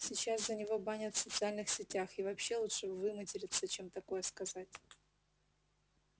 сейчас за него банят в социальных сетях и вообще лучше выматериться чем такое сказать